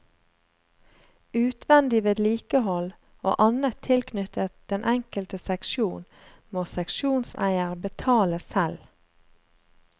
Utvendig vedlikehold og annet tilknyttet den enkelte seksjon må seksjonseier betale selv.